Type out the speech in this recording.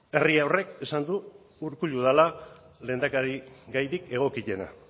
herri horrek esan du urkullu dela lehendakarigairik egokiena